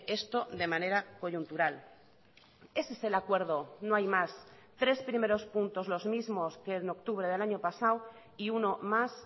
esto de manera coyuntural ese es el acuerdo no hay más tres primeros puntos los mismos que en octubre del año pasado y uno más